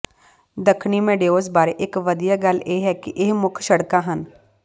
ਦੱਖਣੀ ਮੇਡਓਜ਼ ਬਾਰੇ ਇਕ ਵਧੀਆ ਗੱਲ ਇਹ ਹੈ ਕਿ ਇਹ ਮੁੱਖ ਸੜਕਾਂ ਹਨ